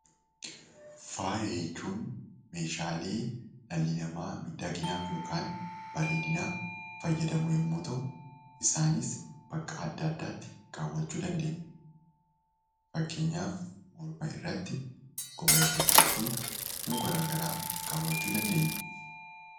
Faayya jechuun meeshaalee miidhaginaa kan dhalli namaa bareedinaaf fayyadamuu yammuu ta'u. Isaanis bakka addaa addaatti kaawwachuu dandeenya. Fakkeenyaaf morma irratti, quba irrattii fi iddoo garaa garaatti kaawwachuu dandeenya.